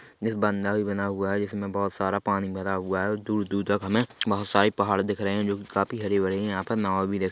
बना हुआ है जिसमें बहुत सारा पानी भरा हुआ है और दूर दूर तक हमें बहुत सारे पहाड़ दिख रहे जो की काफ़ी हरी भरी है यहाँ पर नाओ भी देख--